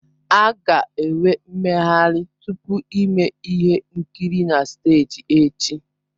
A ga-enwe mmeghari tupu ime ihe nkiri na steeji echi.